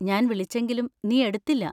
ഞാൻ വിളിച്ചെങ്കിലും നീ എടുത്തില്ല.